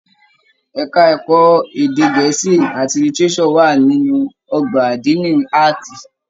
Ẹka ẹ̀kọ́ èdè gẹ̀ẹ́sì àti lítíréṣọ̀ wà nínú ọgbà adini Ààtì.